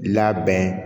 Labɛn